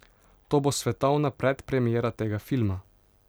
To bo svetovna predpremiera tega filma.